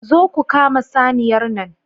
Zo ku kama saniyar nan